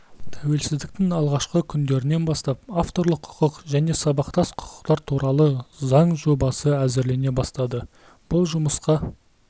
тәуелсіздіктің алғашқы күндерінен бастап авторлық құқық және сабақтас құқықтар туралы заң жобасы әзірлене бастады бұл жұмысқа